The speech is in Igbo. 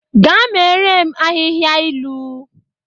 Gaa meere m ahịhịa ilu!